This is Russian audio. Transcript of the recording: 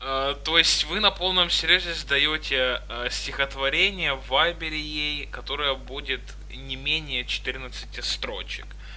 то есть вы на полном серьёзе задаёте стихотворение в вайбере ей которое будет не менее четырнадцати строчек